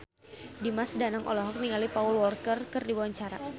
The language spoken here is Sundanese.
Dimas Danang olohok ningali Paul Walker keur diwawancara